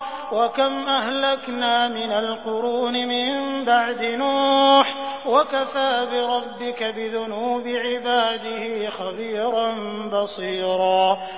وَكَمْ أَهْلَكْنَا مِنَ الْقُرُونِ مِن بَعْدِ نُوحٍ ۗ وَكَفَىٰ بِرَبِّكَ بِذُنُوبِ عِبَادِهِ خَبِيرًا بَصِيرًا